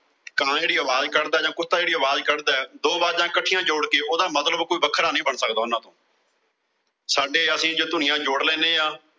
ਕਾਂ ਜਿਹੜੀ ਆਵਾਜ਼ ਕੱਢਦਾ ਜਾਂ ਕੁੱਤਾ ਜਿਹੜੀ ਆਵਾਜ਼ ਕੱਢਦਾ, ਦੋ ਆਵਾਜ਼ਾਂ ਇਕੱਠੀਆਂ ਜੋੜ ਕੇ ਉਹਦਾ ਮਤਲਬ ਕੋਈ ਵੱਖਰਾ ਨੀਂ ਬਣ ਸਕਦਾ ਉਨ੍ਹਾਂ ਤੋਂ ਸਾਡੇ ਅਸੀਂ ਜੋ ਧੁਨੀਆਂ ਜੋੜ ਲੈਨੇ ਆਂ।